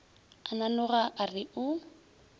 a nanoga a re o